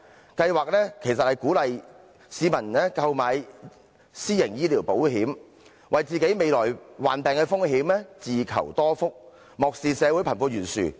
該計劃其實是鼓勵市民購買私營醫療保險，為自己未來患病的風險自求多福，漠視社會貧富懸殊。